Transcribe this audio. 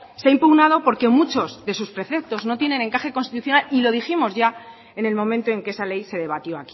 se ha impugnado porque muchos de sus preceptos no tienen encaje constitucional y lo dijimos ya en el momento en que esa ley se debatió